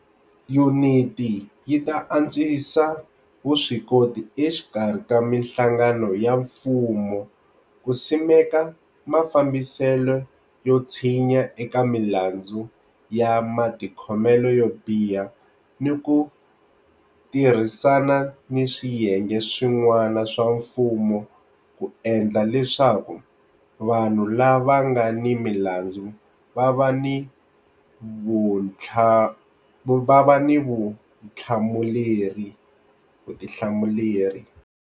Yuniti yi ta antswisa vuswikoti exikarhi ka mihlangano ya mfumo ku simeka mafambiselo yo tshinya eka milandzu ya matikhomelo yo biha ni ku tirhisana ni swiyenge swi n'wana swa mfumo ku endla leswaku vanhu lava nga ni milandzu va va ni vutihlamuleri.